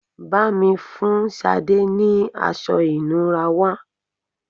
Bá mi fun Sade ni aṣọ ìnura wá